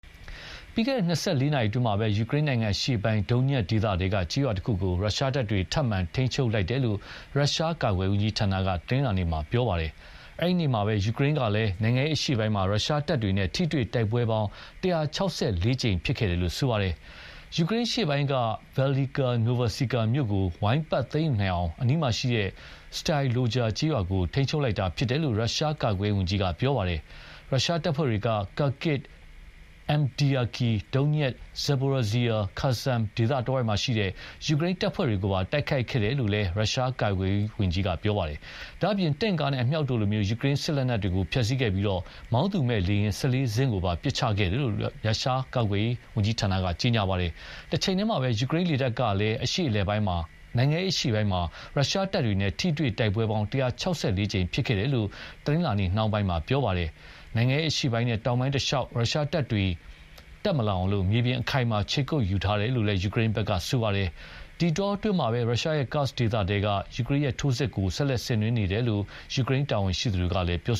ပြီးခဲ့တဲ့၂၄ နာရီအတွင်းမှာပဲ ယူကရိန်းနိုင်ငံအရှေ့ပိုင်း Donetsk ဒေသထဲက ကျေးရွာတခုကို ရုရှားတပ်တွေ ထပ်မံထိန်းချုပ်လိုက်တယ်လို့ ရုရှားကာကွယ်ရေးဝန်ကြီးဌာနက တနင်္လာနေ့မှာ ပြောပါတယ်။ အဲဒီနေ့မှာပဲ ယူကရိန်းကလည်း နိုင်ငံအရှေ့ပိုင်းမှာ ရုရှားတပ်တွေနဲ့ ထိတွေ့တိုက်ပွဲပေါင်း ၁၆၄ ကြိမ် ဖြစ်ပွါးခဲ့တယ်လို့ ပြောပါတယ်။ ယူကရိန်းအရှေ့ပိုင်းက Velyka Novosilka မြို့ကို ဝိုင်းပတ်သိမ်းယူနိုင်အောင် အနီးမှာရှိတဲ့ Storozheve ကျေးရွာကို ထိန်းချုပ်လိုက်တာဖြစ်တယ်လို့ ရုရှားကာကွယ်ရေးဝန်ကြီး ကပြောပါတယ်။ရုရှားတပ်ဖွဲ့တွေက Kharkiv၊ Avdiivka၊ Donetsk၊ Zaporizhzhia နဲ့ Kherson ဒေသတဝိုက်မှာရှိတဲ့ ယူကရိန်း တပ်ဖွဲ့တွေကိုပါ တိုက်ခိုက်ခဲ့တယ်လို့လည်း ရုရှားကာကွယ်ရေးကပြောပါတယ်။ ဒါ့အပြင် တင့်ကားနဲ့ အမြောက်တို့လို ယူကရိန်းစစ်လက်နက်တွေကို ဖျက်ဆီးခဲ့ပြီး မောင်းသူမဲ့လေယာဉ် ၁၄ စင်းကိုပါ ပစ်ချခဲ့တယ်လို့ ရုရှားကာကွယ်ရေး ဝန်ကြီးဌာနက ပြောပါတယ်။ တချိန်တည်းမှာပဲ ယူကရိန်းလေတပ်ကလည်း နိုင်ငံအရှေ့ပိုင်းမှာ ရုရှားတပ်တွေနဲ့ထိတွေ့တိုက်ပွဲ ၁၆၄ ကြိမ်ဖြစ်ပွါးခဲ့တယ်လို့ တနင်္လာနေ့နှောင်းပိုင်းမှာပြောပါတယ်။ နိုင်ငံအရှေ့ပိုင်းနဲ့ တောင်ပိုင်းတလျှောက် ရုရှားတပ်တွေတက်မလာနိုင်အောင် မြေပြင်အခိုင်အမာခြေကုတ်ယူထားတယ်လို့လည်း ယူကရိန်းက ပြောပါတယ်။ ဒီအတောအတွင်းမှာပဲ ရုရှားရဲ့ Kursk ဒေသထဲက ယူကရိန်းရဲ့ထိုးစစ်တွေကို ဆက်လက်ဆင်နွှဲနေတယ်လို့လည်း ယူကရိန်းတာဝန်ရှိသူတွေက ပြော